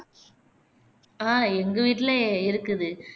ஆஹ் எங்க வீட்டிலே இருக்குது